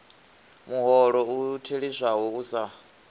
muholo u theliswaho u sa